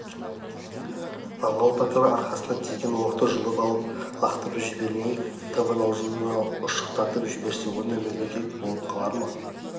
аңғал батыр арқасына тиген оқты жұлып алып лақтырып жібермей табан аузында ұшықтатып жіберсе осындай мүгедек болып қалар ма